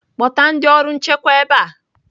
Kpọta ndị ọrụ nchekwa ebe a!